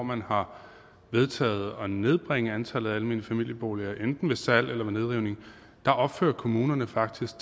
man har vedtaget at nedbringe antallet af almene familieboliger enten ved salg eller ved nedrivning opfører kommunerne faktisk